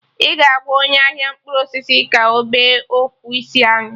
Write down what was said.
Ị ga-agwa onye ahia mkpụrụ osisi ka ọ bee ofu isi anyụ